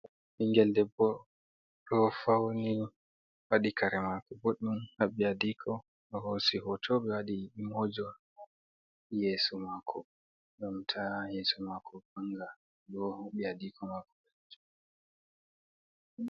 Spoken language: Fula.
Ɓingel Ɗebbo Ɗo Fauni. Waɗi Kare Mako Ɓuɗɗum Haɓɓi Aɗiko Ɓe Hosi Hoto Ɓe Waɗi Imojor Yesu Mako Gam Ta Yesu Mako Vanga Ɗo Haɓɓi Adiko Mako Joɗi.